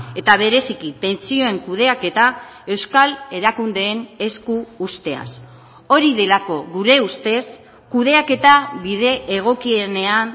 eta bereziki pentsioen kudeaketa euskal erakundeen esku uzteaz hori delako gure ustez kudeaketa bide egokienean